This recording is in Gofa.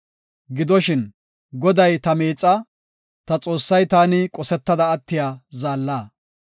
Gidoshin Goday ta miixaa; ta Xoossay taani qosetada attiya zaalla.